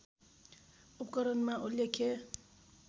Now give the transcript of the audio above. उपकरणमा उल्लेख्य